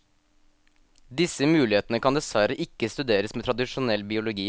Disse mulighetene kan dessverre ikke studeres med tradisjonell biologi.